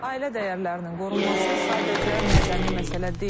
Ailə dəyərlərinin qorunması sadəcə mədəni məsələ deyil.